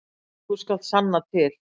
Þú skalt sanna til.